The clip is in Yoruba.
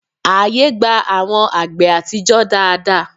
Ààyè gba àwọn àgbè àtijọ́ dáadáa